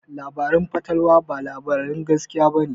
Labaran fatalwa ba labaran gaskiya ba ne.